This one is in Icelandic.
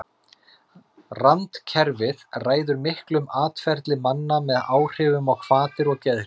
Randkerfið ræður miklu um atferli manna með áhrifum á hvatir og geðhrif.